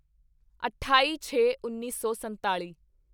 ਅਠਾਈਛੇਉੱਨੀ ਸੌ ਸੰਤਾਲੀ